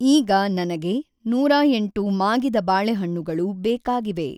ಈಗ ನನಗೆ ನೂರ ಎಂಟು ಮಾಗಿದ ಬಾಳೆಹಣ್ಣುಗಳು ಬೇಕಾಗಿವೆ.